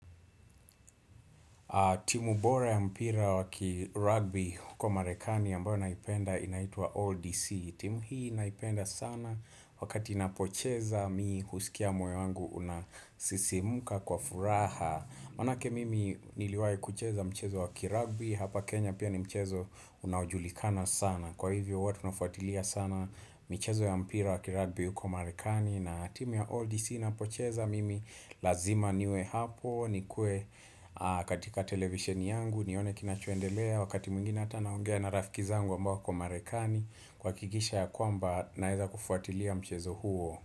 Timu bora ya mpira wakirugby huko marekani ambayo naipenda inaitwa All DC. Timu hii naipenda sana wakati inapocheza mi husikia moyo wangu unasisimuka kwa furaha. Maanake mimi niliwahi kucheza mchezo wakirugby, hapa Kenya pia ni mchezo unaojulikana sana. Kwa hivyo huwa tunafuatilia sana michezo ya mpira wakirugby huko marekani. Na timu ya Oldie si napocheza mimi lazima niwe hapo nikue katika televisheni yangu nione kinachoendelea Wakati mwingine hata naongea na rafiki zangu ambao wako marekani kuhakikisha ya kwamba naeza kufuatilia mchezo huo.